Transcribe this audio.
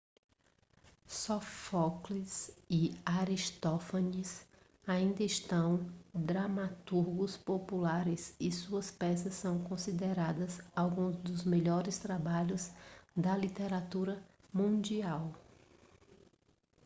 sófocles e aristófanes ainda são dramaturgos populares e suas peças são consideradas alguns dos melhores trabalhos da literatura mundial